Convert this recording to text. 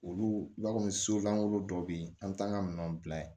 Olu ba kɔni so langolo dɔ bɛ yen an bɛ taa an ka minɛnw bila yen